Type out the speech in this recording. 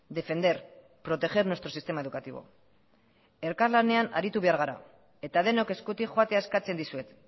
defender proteger nuestro sistema educativo elkarlanean aritu behar gara eta denok eskutik joatea eskatzen dizuet